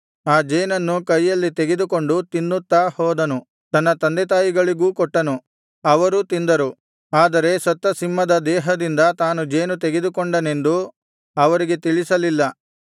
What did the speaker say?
ಆ ಜೇನನ್ನು ಕೈಯಲ್ಲಿ ತೆಗೆದುಕೊಂಡು ತಿನ್ನುತ್ತಾ ಹೋದನು ತನ್ನ ತಂದೆತಾಯಿಗಳಿಗೂ ಕೊಟ್ಟನು ಅವರೂ ತಿಂದರು ಆದರೆ ಸತ್ತ ಸಿಂಹದ ದೇಹದಿಂದ ತಾನು ಜೇನು ತೆಗೆದುಕೊಂಡನೆಂದು ಅವರಿಗೆ ತಿಳಿಸಲಿಲ್ಲ